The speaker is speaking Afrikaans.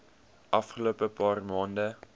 afgelope paar maande